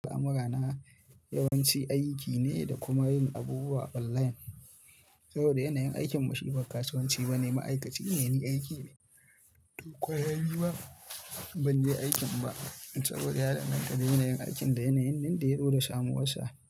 Camera na yawanci aiki ne da kuma yin abubuwa online. Saboda yanayin aikin mu shi ba kasuwanci bane Ma'aikaci ne ni aiki na, to kwana biyu ma, ban je aikin ba, saboda ya danganta da yanayin aikin da yanayin nan da ya zo da samuwar sa.